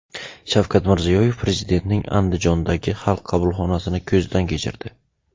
Shavkat Mirziyoyev Prezidentning Andijondagi Xalq qabulxonasini ko‘zdan kechirdi.